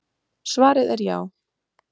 Svarið er já.